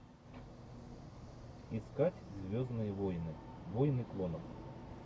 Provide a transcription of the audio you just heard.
искать звездные войны войны клонов